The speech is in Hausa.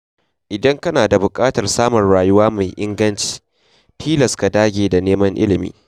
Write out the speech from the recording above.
Idan kana da buƙatar samun rayuwa mai inganci, tilas ka dage da neman ilimi.